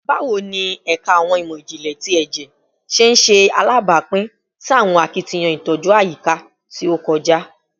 Bawo ni Ẹka Awọn imọ-jinlẹ ti Ẹjẹ ṣe ṣe alabapin si awọn akitiyan itoju ayika ti o kọja?